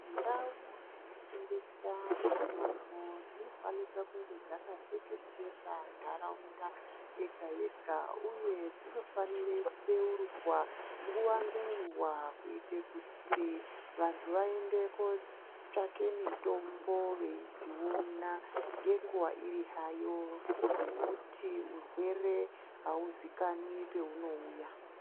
Ndau dzinotengesa mitombo, dzinofanika kunge dzakatekeshera ndarawunda yega yega, uye dzinofanire kudewurugwa nguwa ngenguwa , kuyite kuti vantu vayende kotsvake mitombo veyidziwona, ngenguwa iri hayo, ngekuti urwere hawuzikanwi pewunowuya.